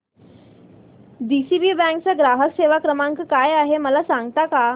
DCB bank चा ग्राहक सेवा क्रमांक काय आहे मला सांगता का